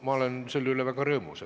Ma olen selle üle väga rõõmus.